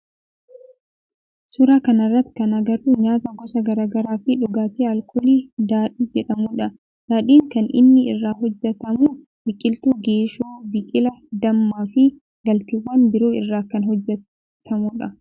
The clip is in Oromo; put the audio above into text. Suuraa kana irratti kan agarru nyaata gosa garaa garaa fi dhugaatii alkoolii daadhii jedhamudha. Daadhiin kan inni irraa hojjetamu biqiltuu geeshoo, biqila, dammaa fi galteewwan biroo irraa kan hojjetamu dha.